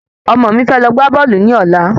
Ọmọ mi fẹ́ lọ gbá bọ́ọ̀lù ni ọ̀la